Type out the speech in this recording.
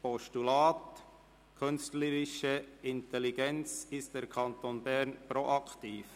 Grossrat Gullotti, «Künstliche Intelligenz: Ist der Kanton Bern proaktiv?».